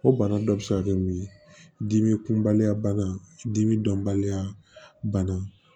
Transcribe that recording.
O bana dɔ bɛ se ka kɛ mun ye dimi kunbaliya bana dimi dɔnbaliya bana